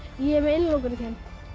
ég er með innilokunarkennd